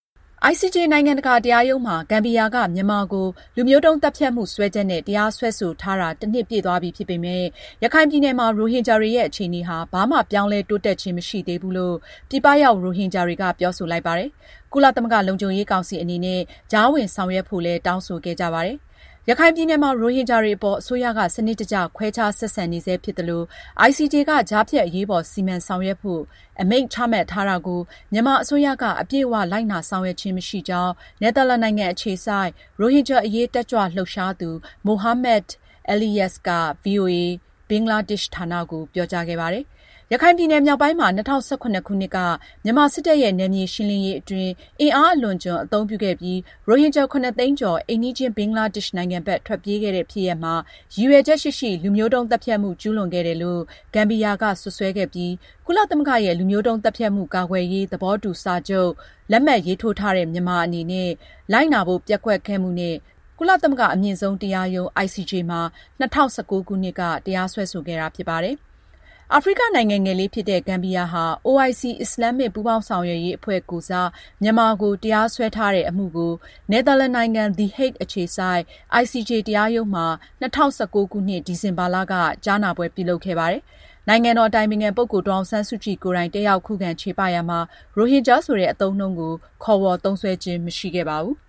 ICJ နိုင်ငံတကာတရားရုံးမှာ ဂမ်ဘီယာက မြန်မာကို လူမျိုးတုန်းသတ်ဖြတ်မှု စွဲချက်နဲ့ တရားစွဲဆိုထားတာ တနှစ်ပြည့်သွားပြီဖြစ်ပေမဲ့ ရခိုင်ပြည်နယ်မှာ ရိုဟင်ဂျာတွေရဲ့ အခြေအနေဟာ ဘာမှ ပြောင်းလဲတိုးတက်ခြင်းမရှိသေးဘူးလို့ ပြည်ပရောက် ရိုဟင်ဂျာတွေက ပြောဆိုလိုက်ပါတယ်။ ကုလသမဂ္ဂလုံခြုံရေးကောင်စီအနေနဲ့ ကြားဝင်ဆောင်ရွက်ဖို့လည်း တောင်းဆိုခဲ့ကြပါတယ်။ ရခိုင်ပြည်နယ်မှာ ရိုဟင်ဂျာတွေအပေါ် အစိုးရက စနစ်တကျ ခွဲခြားဆက်ဆံနေဆဲဖြစ်သလို၊ ICJ က ကြားဖြတ်အရေးပေါ် စီမံဆောင်ရွက်ဖို့ အမိန့်ချမှတ်ထားတာကို မြန်မာအစိုးရက အပြည့်အ၀ လိုက်နာ ဆောင်ရွက်ခြင်းမရှိကြောင်း နယ်သာလန်နိုင်ငံအခြေစိုက် ရိုဟင်ဂျာအရေးတက်ကြွလှုပ်ရှားသူ Mohammed Eleyas က ဗွီအိုအေ ဘင်္ဂလားဒေ့ရှ်ဌာနကို ပြောကြားခဲ့ပါတယ်။ ရခိုင်ပြည်နယ် မြောက်ပိုင်းမှာ ၂၀၁၇ခုနှစ်က မြန်မာစစ်တပ်ရဲ့ နယ်မြေရှင်းလင်းရေးအတွင်း အင်အားအလွန်အကျွံ အသုံးပြုခဲ့ပြီး ရိုဟင်ဂျာ ၇ သိန်းကျော် အိမ်နီးချင်း ဘင်္ဂလားဒေ့ရှ်နိုင်ငံဘက် ထွက်ပြေးခဲ့ရတဲ့ ဖြစ်ရပ်မှာ ရည်ရွယ်ချက်ရှိရှိ လူမျိုးတုန်းသတ်ဖြတ်မှုကျူးလွန်ခဲ့တယ်လို့ ဂမ်ဘီယာက စွပ်စွဲခဲ့ပြီး ကုလသမဂ္ဂရဲ့ လူမျိုးုတုန်းသတ်ဖြတ်မှု ကာကွယ်ရေး သဘောတူစာချုပ်လက်မှတ်ရေးထိုးထားတဲ့ မြန်မာအနေနဲ့ လိုက်နာဖို့ ပျက်ကွက်ခဲ့မှုနဲ့ ကုလသမဂ္ဂအမြင့်ဆုံးတရားရုံး ICJ မှာ ၂၀၁၉ ခုနှစ်က တရားစွဲခဲ့တာဖြစ်ပါတယ်။ အာဖရိကနိုင်ငံငယ်လေးဖြစ်တဲ့ ဂမ်ဘီယာဟာ OIC အစ္စလာမ်မစ် ပူးပေါင်းဆောင်ရွက်ရေးအဖွဲ့ကိုယ်စား မြန်မာကို တရားစွဲထားတဲ့အမှုကို နယ်သာလန်နိုင်ငံ the Hague အခြေစိုက် ICJ တရားရုံးမှာ ၂၀၁၉ခုနှစ် ဒီဇင်ဘာလ ၁၀-၁၂ရက်နေ့ထိ ကြားနာပွဲပြုလုပ်ခဲ့ပါတယ်။ နိုင်ငံတော်အတိုင်ပင်ခံပုဂ္ဂိုလ်ဒေါ်အောင်ဆန်းစုကြည်ကိုယ်တိုင် တက်ရောက်ခုခံချေပရာမှာ ရိုဟင်ဂျာဆိုတဲ့ အသုံးအနှုန်းကို ခေါ်ဝေါ်သုံးစွဲခြင်းမရှိခဲ့ပါဘူး။